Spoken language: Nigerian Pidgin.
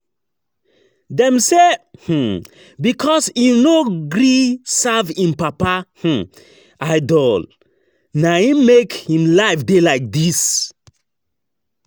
Dem say na um because im no gree serve im papa um idol, na im make im life dey like dis